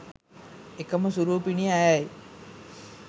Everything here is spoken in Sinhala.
එකම සුරූපිනිය ඇයයි.